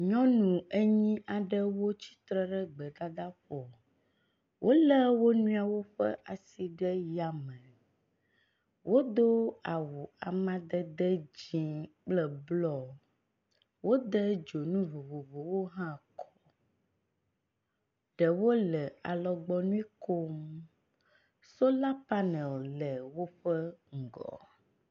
nyɔnu enyí aɖewo tsitre ɖe gbedadaƒo wóle woniɔwo ƒe asi ɖe yame wodó awu amadede dzĩ kple blɔ wóde dzonuvovovowo hã kɔ ɖewo le alɔgbɔnuikom sola panel le wóƒe ŋgɔ